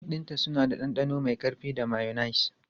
Kek ɗinta suna da ɗanɗano mai ƙarfi da mayonnaise.